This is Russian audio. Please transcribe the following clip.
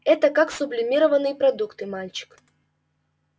это как сублимированные продукты мальчик